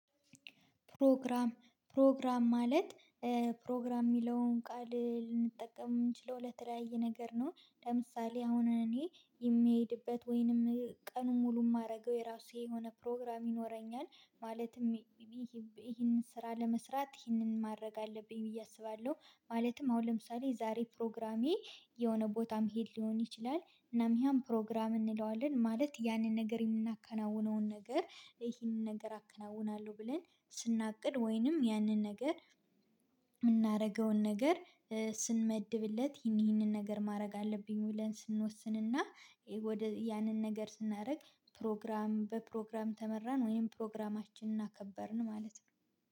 ፕሮግራም ፕሮግራም ማለት ፕሮግራም የሚለውን ቃል ልንጠቀም የምንችለው ለተለያየ ነገር ነው። ለምሳሌ አሁን እኔ የምሄድበት ወይንም ቀኑን ሙሉ የማደርገው የራሴ የሆነ ፕሮግራም ይኖረኛል። ማለትም ይሄንን ስራ ለመስራት ይሄንን ማድረግ አለብኝ ብዬ አስባለሁ። ማለትም አሁን ለምሳሌ ዛሬ ፕሮግራሜ የሆነ ቦታ መሄድ ሊሆን ይችላል። እናም ያን ፕሮግራም እንለዋለን ማለት ያንን ነገር የምናከናውነውን ነገር ይሄን ነገር አከናውናለሁ ብለን ስናቅድ ወይንም ያንን ነገር። የምናደርገውን ነገር ስንመድብለት ይሄን ይሄን ነገር ማድረግ አለብኝ ብለን ስንወስንና ያንን ነገር ስናደርግ። ፕሮግራም በፕሮግራም ተመራን ወይም ፕሮግራማችንን አከበርን ማለት ነው